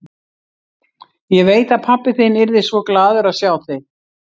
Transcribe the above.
Ég veit að pabbi þinn yrði svo glaður að sjá þig.